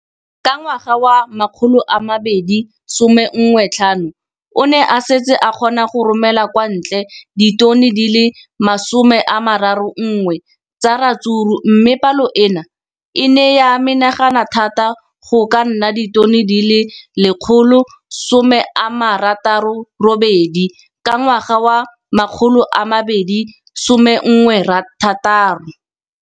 Ka ngwaga wa 2015, o ne a setse a kgona go romela kwa ntle ditone di le 31 tsa ratsuru mme palo eno e ne ya menagana thata go ka nna ditone di le 168 ka ngwaga wa 2016.